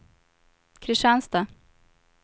Kristianstad